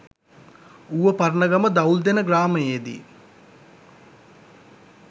Uva Paranagama Dawuldena ග්‍රාමයේදී